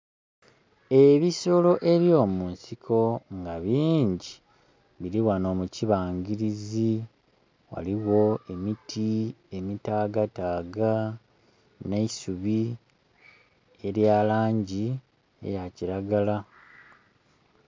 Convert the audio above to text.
Ebisolo ebyomunsiko nga bingi biri ghano mukibangirizi ghaligho emiti emitaga taga neisubi elya langi eya kilagala